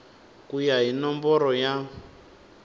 ku ya hi nomboro ya